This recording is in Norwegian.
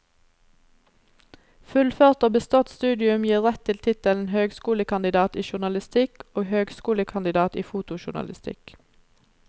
Fullført og bestått studium gir rett til tittelen høgskolekandidat i journalistikk og høgskolekandidat i fotojournalistikk.